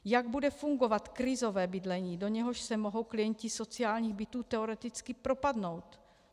Jak bude fungovat krizové bydlení, do něhož se mohou klienti sociálních bytů teoreticky propadnout?